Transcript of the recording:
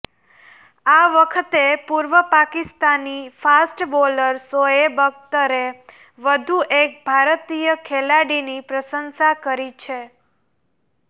આ વખતે પૂર્વ પાકિસ્તાની ફાસ્ટ બોલર શોએબ અખ્તરે વધુ એક ભારતીય ખેલાડીની પ્રશંસા કરી છે